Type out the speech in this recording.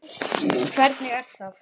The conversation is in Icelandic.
Hvernig er það?